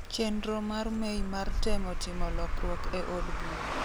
chenro mar May mar temo timo lokruok e od bura.